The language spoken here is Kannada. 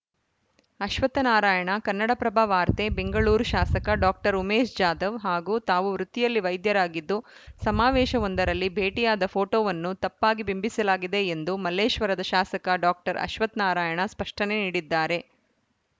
ಅಶ್ವತ್ಥನಾರಾಯಣ ಕನ್ನಡಪ್ರಭ ವಾರ್ತೆ ಬೆಂಗಳೂರು ಶಾಸಕ ಡಾಕ್ಟರ್ ಉಮೇಶ್‌ ಜಾಧವ್‌ ಹಾಗೂ ತಾವು ವೃತ್ತಿಯಲ್ಲಿ ವೈದ್ಯರಾಗಿದ್ದು ಸಮಾವೇಶವೊಂದರಲ್ಲಿ ಭೇಟಿಯಾದ ಫೋಟೋವನ್ನು ತಪ್ಪಾಗಿ ಬಿಂಬಿಸಲಾಗಿದೆ ಎಂದು ಮಲ್ಲೇಶ್ವರದ ಶಾಸಕ ಡಾಕ್ಟರ್ ಅಶ್ವತ್ಥನಾರಾಯಣ ಸ್ಪಷ್ಟನೆ ನೀಡಿದ್ದಾರೆ